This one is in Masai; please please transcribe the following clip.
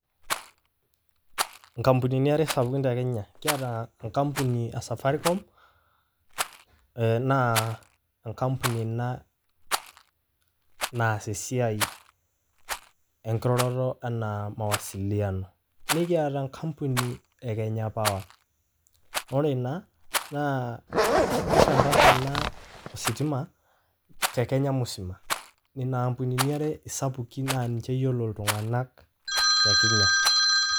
Inkampunini are sapukin te Kenya. Kiata enkampuni e Safaricom, naa enkampuni ina naas esiai enkiroroto enaa mawasiliano. Nikiata enkampuni e Kenya power. Ore ena, naa kisambasa ina ositima te Kenya musima. Inampunini are isapukin nanche eyiolo iltung'anak te Kenya.